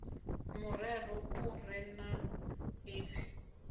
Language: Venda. murero u re na ipfi